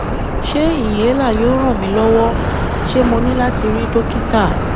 Ṣé inhaler yóò ran mi lọ́wọ́? Ṣé mo ní láti rí Dókítà?